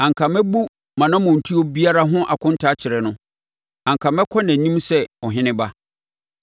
Anka mɛbu mʼanammɔntuo biara ho akonta akyerɛ no; anka mɛkɔ nʼanim sɛ ɔheneba.)